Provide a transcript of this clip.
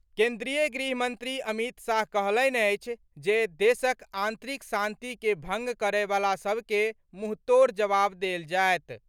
केन्द्रीय गृह मंत्री अमित शाह कहलनि अछि जे देशक आंतरिक शांति के भंग करए वला सभ के मुंहतोड़ जवाब देल जायत।